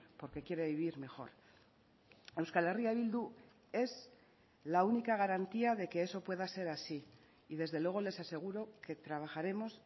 porque quiere vivir mejor euskal herria bildu es la única garantía de que eso pueda ser así y desde luego les aseguro que trabajaremos